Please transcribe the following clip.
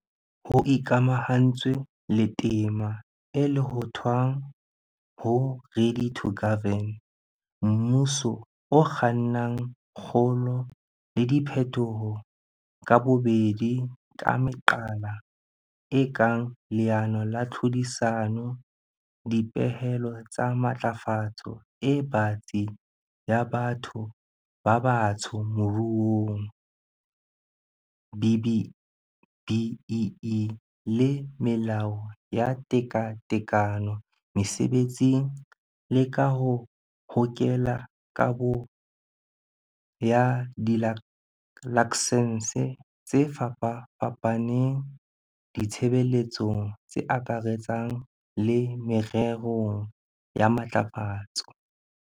Ho ikamahantswe le tema e lohothwang ho 'Ready to Govern', mmuso o kganna kgolo le diphetoho ka bobedi ka meqala e kang leano la tlhodisano, dipehelo tsa matlafatso e batsi ya batho ba batsho moruong, BBBEE, le melao ya tekatekano mesebetsing, le ka ho hokela kabo ya dilaksense tse fapafapaneng ditshebeletsong tse akaretsang le mererong ya matlafatso.